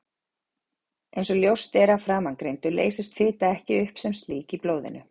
Eins og ljóst er af framangreindu leysist fita ekki upp sem slík í blóðinu.